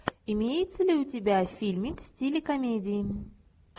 имеется ли у тебя фильмик в стиле комедии